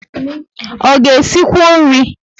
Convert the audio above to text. O ga esikwu nri?